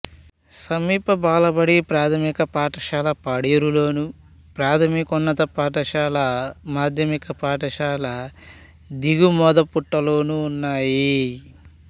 సమీప బాలబడి ప్రాథమిక పాఠశాల పాడేరులోను ప్రాథమికోన్నత పాఠశాల మాధ్యమిక పాఠశాల దిగుమోదపుట్టులోనూ ఉన్నాయి